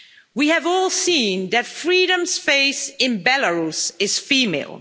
We have all seen that freedom's face in Belarus is female.